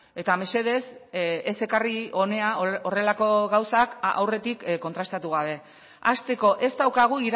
eta mesedez ez ekarri hona horrelako gauzak aurretik kontrastatu gabe hasteko ez daukagu